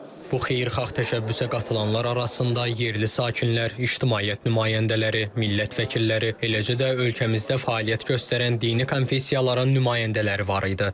Bu xeyirxah təşəbbüsə qatılanlar arasında yerli sakinlər, ictimaiyyət nümayəndələri, millət vəkilləri, eləcə də ölkəmizdə fəaliyyət göstərən dini konfessiyaların nümayəndələri var idi.